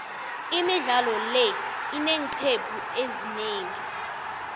imidlalo le ineeqcephu ezinengi